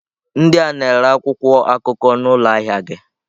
Ndị a na-ere akwụkwọ akụkọ n'ụlọ ahịa gị.